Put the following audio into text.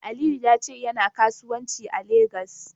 Aliyu ya ce yana kasuwanci a Legas.